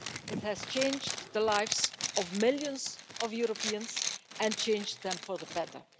It has changed the lives of millions of Europeans and changed them for the better.